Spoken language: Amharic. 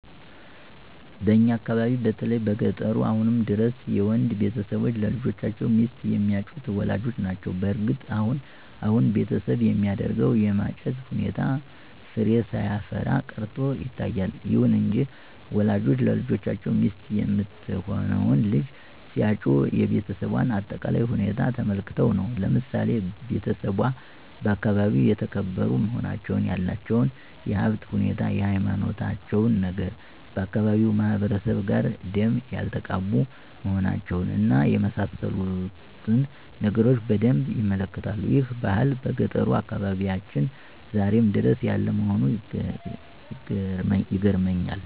በእኛ አካባቢ በተለይ በገጠሩ አሁንም ድረስ የወንድ ቤተሰቦች ለልጆቻቸው ሚስት የሚያጩት ወላጆች ናቸው። በእርግጥ አሁን አሁን በቤተሰብ የሚደረገው የማጨት ሁኔታ ፍሬ ሳያፈራ ቀርቶ ይታያል። ይሁን እንጂ ወላጆች ለልጆቻቸው ሚስት የምትሆነውን ልጅ ሲያጩ የቤሰቧን አጠቃላይ ሁኔታ ተመልክተው ነው። ለምሳሌ ቤተሰቧ በአካባቢው የተከበሩ መሆናቸውን፣ ያላቸውን የሀብት ሁኔታ፣ የሀይማኖታቸውን ነገር፣ ከአካባቢው ማህበረሰብ ጋር ደም ያልተቃቡ መሆናቸውን እና የመሳሰሉትን ነገሮች በደንብ ይመለከታሉ። ይህ ባህል በገጠሩ አካባቢያችን ዛሬም ድረስ ያለ መሆኑ ይገርመኛል።